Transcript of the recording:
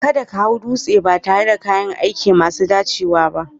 Kada ka hau dutse ba tare da kayan aiki masu dacewa ba